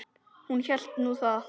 Hún hélt nú það.